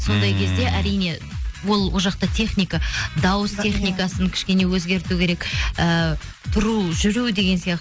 сондай кезде әрине ол жақта техника дауыс техникасын кішкене өзгерту керек ііі тұру жүру деген сияқты